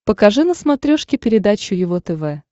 покажи на смотрешке передачу его тв